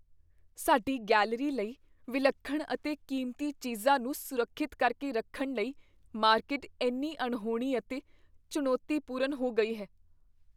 ਸਾਡੀ ਗੈਲਰੀ ਲਈ ਵਿਲੱਖਣ ਅਤੇ ਕੀਮਤੀ ਚੀਜ਼ਾਂ ਨੂੰ ਸੁਰੱਖਿਅਤ ਕਰਕੇ ਰੱਖਣ ਲਈ ਮਾਰਕੀਟ ਇੰਨੀ ਅਣਹੋਣੀ ਅਤੇ ਚੁਣੌਤੀਪੂਰਨ ਹੋ ਗਈ ਹੈ।